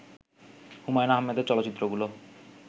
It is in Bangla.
হুমায়ূন আহমেদের চলচ্চিত্রগুলো